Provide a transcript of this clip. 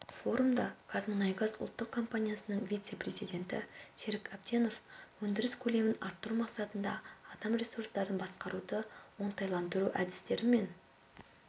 форумда қазмұнайгаз ұлттық компаниясының вице-президенті серік әбденов өндіріс көлемін арттыру мақсатында адам ресурстарын басқаруды оңтайландыру әдістерімен